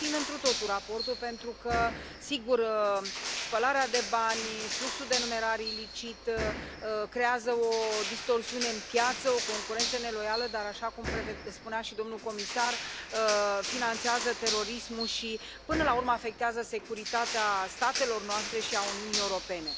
Susțin întru totul raportul, pentru că, sigur, spălarea de bani, fluxul de numerar ilicit creează o distorsiune în piață, o concurență neloială, dar, așa cum spunea și domnul comisar, finanțează terorismul și, până la urmă, afectează securitatea statelor noastre și a Uniunii Europene.